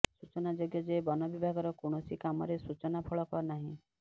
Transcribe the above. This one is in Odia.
ସୂଚନାଯୋଗ୍ୟ ଯେ ବନବିଭାଗର କୌଣସି କାମରେ ସୂଚନା ଫଳକ ନାହିଁ